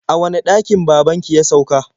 A wane ɗakin baban ki ya sauka?